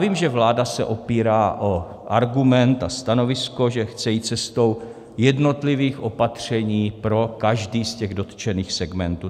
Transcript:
Vím, že vláda se opírá o argument a stanovisko, že chce jít cestou jednotlivých opatření pro každý z těch dotčených segmentů.